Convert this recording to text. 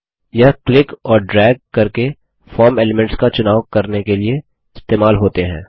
यह क्लिक और ड्रैग करके फॉर्म एलीमेंट्स का चुनाव करने के लिए इस्तेमाल होते हैं